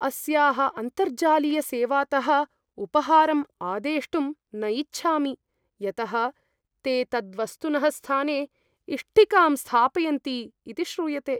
अस्याः अन्तर्जालीयसेवातः उपहारम् आदेष्टुं न इच्छामि यतः ते तद्वस्तुनः स्थाने इष्टिकां स्थापयन्ति इति श्रूयते।